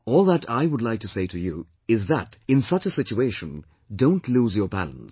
All that I would like to say to you is that in such a situation, don't lose your balance